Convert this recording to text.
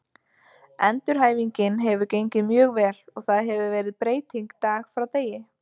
Endurhæfingin hefur gengið mjög vel og það hefur verið breyting dag frá degi.